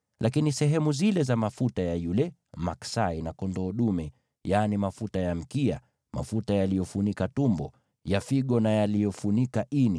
Lakini sehemu zile za mafuta ya yule maksai na kondoo dume, yaani mafuta ya mkia, mafuta yaliyofunika tumbo, ya figo na yaliyofunika ini,